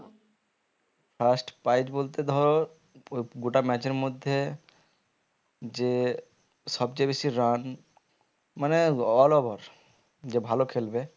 first prize বলতে ধরো গোটা match এর মধ্যে যে সবচেয়ে বেশি run মানে all over যে ভালো খেলবে